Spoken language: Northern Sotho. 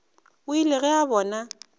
o ile ge a bona